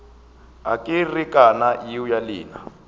a kerekana yeo ya lena